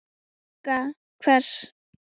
Vagga hvers?